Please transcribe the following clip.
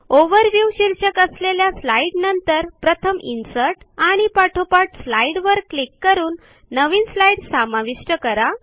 overview शीर्षक असलेल्या slide नंतर प्रथम इन्सर्ट आणि पाठोपाठ स्लाईड वर क्लिक करून नवीन स्लाईड समाविष्ट करा